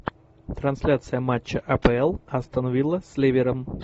трансляция матча апл астон вилла с ливером